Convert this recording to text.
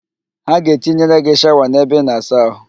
Ha ga-etinyere gị shawa n'ebe ịna-asa ahụ